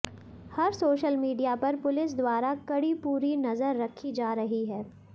हर social media पर police द्वारा कड़ी पूरी नजर रखी जा रही है